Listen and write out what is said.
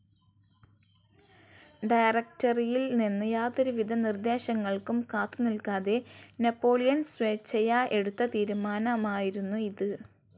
ഡയറക്റ്ററിയിൽ നിന്ന് യാതൊരു വിധ നിർദ്ദേശങ്ങൾക്കും കാത്തു നില്ക്കാതെ നാപ്പോളിയൻ സ്വേച്ഛയാ എടുത്ത തീരുമാനമായിരുന്നു ഇത്.